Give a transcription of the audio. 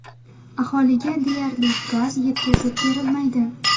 Aholiga deyarli gaz yetkazib berilmaydi.